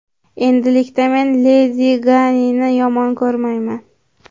Endilikda men Ledi Gagani yomon ko‘rmayman.